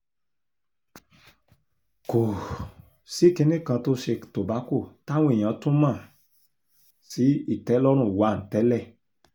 kò um sí kinní kan tó ṣe tobacco táwọn èèyàn tún mọ̀ um sí ìtẹ́lọ́rùn 1 tẹ́lẹ̀